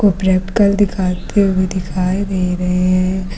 Practical दिखाते हुए दिखाई दे रहे हैं।